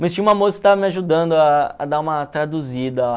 Mas tinha uma moça que tava me ajudando a a dar uma traduzida lá.